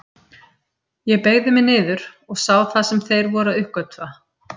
Ég beygði mig niður og sá það sem þeir voru að uppgötva.